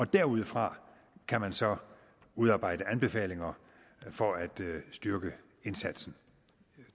derudfra kan man så udarbejde anbefalinger for at styrke indsatsen